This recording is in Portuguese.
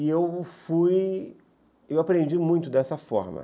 E eu fui... Eu aprendi muito dessa forma.